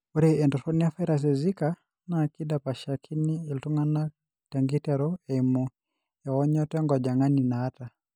Ore entoroni evirus ezika naa keidapashakini iltung'anak tenkiteru eimu eonyoto enkojong'ani naata.